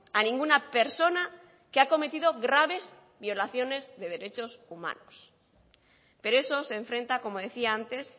a ninguna persona que ha cometido graves violaciones de derechos humanos pero eso se enfrenta como decía antes